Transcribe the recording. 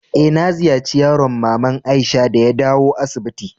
Eh, na ziyace yaron mama'n Aisha de ya dawo asibiti.